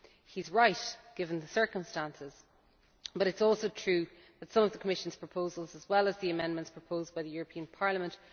He is right, given the circumstances but it is also true that some of the Commission's proposals, as well as the amendments proposed by the European Parliament